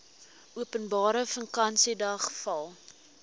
openbare vakansiedag val